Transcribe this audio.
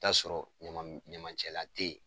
t'a sɔrɔ ɲamacɛlan te yen.